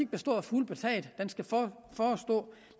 bestå af fugle på taget den skal